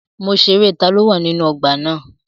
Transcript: Mo ṣerẹ́ taló wà nínú ọgbà na.